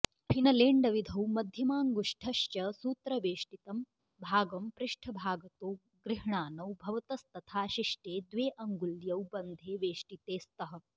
फिनलेण्डविधौ मध्यमाऽङ्गुष्ठ्श्च सूत्रवेष्टितं भागं पृष्ठभागतो गृह्णानौ भवतस्तथा शिष्टे द्वे अङ्गुल्यौ बन्धे वेष्टिते स्तः